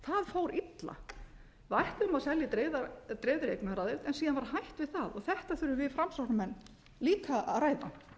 fór illa við ætluðum að selja í dreifðri eignaraðild en síðan var hætt við það og þetta þurfum við framsóknarmenn líka að ræða